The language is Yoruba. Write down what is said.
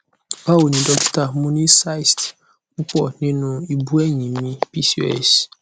bawoni dokita mo ni cysts pupo ninu ibu eyin mi pcos